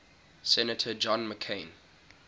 senator john mccain